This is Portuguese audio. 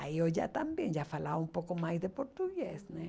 Aí eu já também já falava um pouco mais de português.